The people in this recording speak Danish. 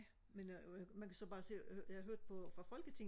men øh man kan så bare se jeg hørte på øh fra folketinget